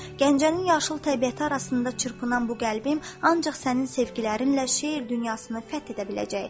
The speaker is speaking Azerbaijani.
Gəncənin yaşıl təbiəti arasında çırpınan bu qəlbim ancaq sənin sevgilərinlə şeir dünyasını fəth edə biləcək.